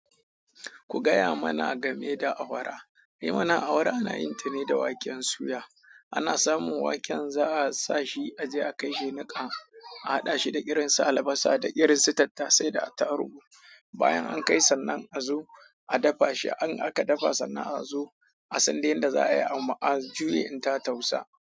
Ku gaya mana game da awara. Ni mana awara ana yin ta ne da waken suya. Ina samun waken sa a sashi aje a kai shi nika a hada shi da irin su albasa da irin su tattase da atarugu bayan an kai sannan azo a dafa shi in aka dafa sannan a zo a sanda yanda za a yi ama'a a juye in ta tausa.